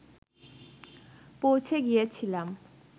পৌঁছে গিয়েছিলাম